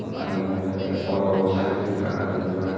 Bayek agey te oto sydodi ekka ekka dega jaai.